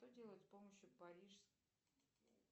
что делать с помощью